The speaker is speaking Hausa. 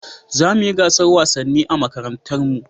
Za mu yi gasar wasanni a makarantar mu